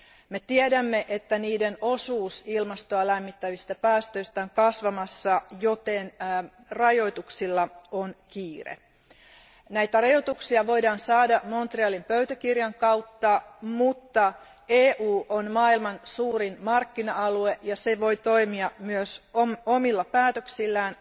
Me tiedämme, että niiden osuus ilmastoa lämmittävistä päästöistä on kasvamassa, joten rajoituksilla on kiire. Näitä rajoituksia voidaan saada Montrealin pöytäkirjan kautta, mutta EU on maailman suurin markkina alue ja se voi toimia myös omilla päätöksillään.